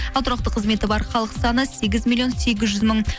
ал тұрақты қызметі бар халық саны сегіз миллион сегіз жүз мың